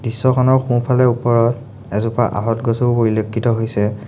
দৃশ্যখনৰ সোঁফালে ওপৰত এজোপা আহঁত গছও পৰিলক্ষিত হৈছে।